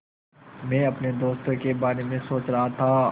मैं अपने दोस्तों के बारे में सोच रहा था